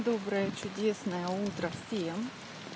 доброе чудесное утро всем